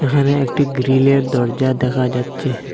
এখানে একটি গ্রিলের দরজা দেখা যাচ্চে।